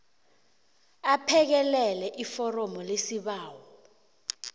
aphekelele iforomu lesibawo